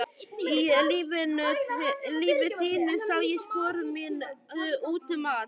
Í lífi þínu sá ég spor mín út um allt.